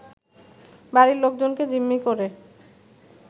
বাড়ির লোকজনকে জিম্মি করে